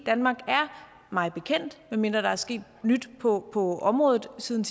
danmark er mig bekendt medmindre der er sket nyt på på området siden